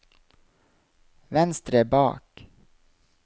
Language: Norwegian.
venstre bak